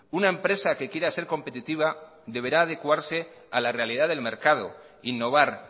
una empresa que quiera ser competitiva deberá adecuarse a la realidad del mercado innovar